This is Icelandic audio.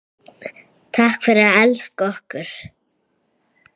Takk fyrir að elska okkur.